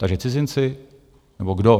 Takže cizinci, nebo kdo?